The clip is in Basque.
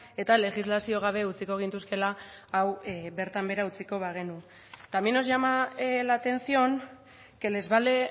eta legislazio gabe utziko gintuzkeela hau bertan behera utziko bagenu también nos llama la atención que les vale